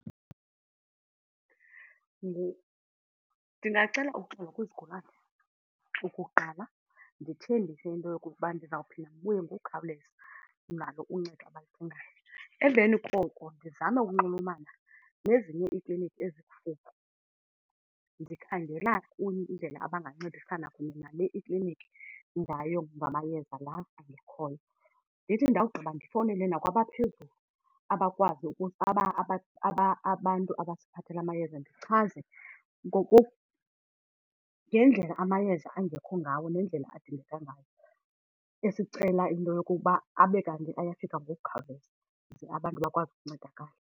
Ndingacela uxolo kwizigulana okokuqala, ndithembise into yokokuba ndizawuphinda ndibuye ngokukhawuleza nalo uncedo abaludingayo. Emveni koko ndizame ukunxulumana nezinye iiklinikhi ezikufuphi ndikhangela indlela abangancedisana kunye nale ikliniki ngayo ngamayeza la angekhoyo. Ndithi ndawugqiba ndifowunele nakwabaphezulu abakwazi , abantu abasiphathela amayeza ndichaze ngendlela amayeza angekho ngawo nendlela adingeka ngayo esicela into yokuba abe kanti ayafika ngokukhawuleza ze abantu bakwazi ukuncedakala.